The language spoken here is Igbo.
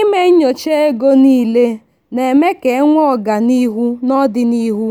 ịme nyocha oge niile na-eme ka enwee ọganihu n'odinihu